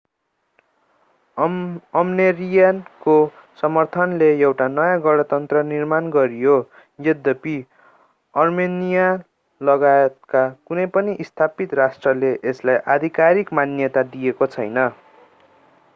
अर्मेनियाको समर्थनले एउटा नयाँ गणतन्त्र निर्माण गरियो यद्यपि अर्मेनियालगायतका कुनै पनि स्थापित राष्ट्रले यसलाई आधिकारिक मान्यता दिएको छैन